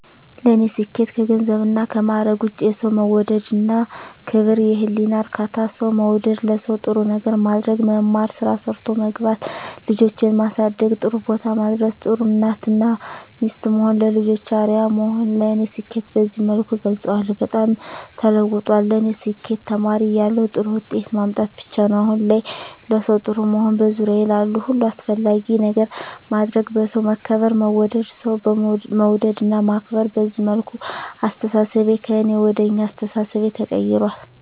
ለኔ ስኬት ከገንዘብና ከማረግ ውጭ፦ የሠው መውደድ እና ክብር፤ የህሊና እርካታ፤ ሠው መውደድ፤ ለሠው ጥሩ ነገር ማድረግ፤ መማር፤ ስራ ሠርቶ መግባት፤ ልጆቼን ማሠደግ ጥሩቦታ ማድረስ፤ ጥሩ እናት እና ሚስት መሆን፤ ለልጆቼ አርያ መሆን ለኔ ስኬትን በዚህ መልኩ እገልፀዋለሁ። በጣም ተለውጧል ለኔ ስኬት ተማሪ እያለሁ ጥሩ ውጤት ማምጣት ብቻ ነበር። አሁን ላይ ለሠው ጥሩ መሆን፤ በዙሪያዬ ላሉ ሁሉ አስፈላጊ ነገር ማድረግ፤ በሠው መከበር መወደድ፤ ሠው መውደድ እና ማክበር፤ በዚህ መልኩ አስተሣሠቤ ከእኔ ወደ አኛ አስተሣሠቤ ተቀይራል።